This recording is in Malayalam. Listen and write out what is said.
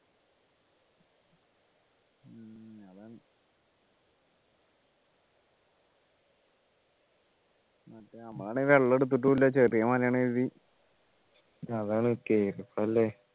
നമ്മളാണെങ്കിൽ വെള്ളം എടുത്തിട്ടും ഇല്ല ചെറിയ മലയാണ് കരുതി അതാണ് കേറുമ്പോ അല്ലെ